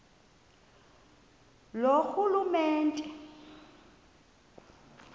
loorhulumente